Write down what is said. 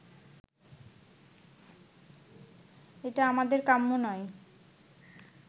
এটা আমাদের কাম্য নয়